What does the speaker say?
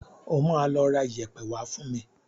O máa lọ ra iyẹ̀pẹ̀ wá fún mi.